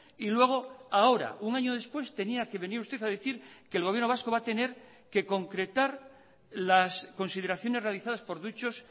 y luego ahora un año después tenía que venir usted a decir que el gobierno vasco va a tener que concretar las consideraciones realizadas por dichos